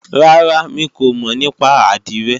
Rárá, mi kò mọ̀ nípa àdìrẹ